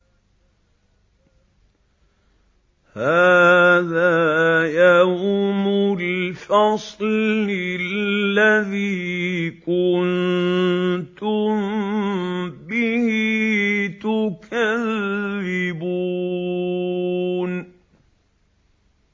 هَٰذَا يَوْمُ الْفَصْلِ الَّذِي كُنتُم بِهِ تُكَذِّبُونَ